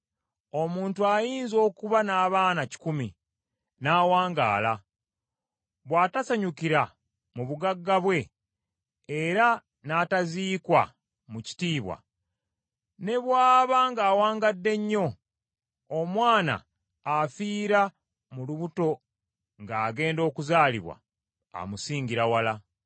Omuntu ayinza okuba n’abaana kikumi, n’awangaala; bw’atasanyukira mu bugagga bwe, era n’ataziikwa mu kitiibwa, ne bw’aba ng’awangadde nnyo, omwana afiira mu lubuto ng’agenda okuzaalibwa amusingira wala.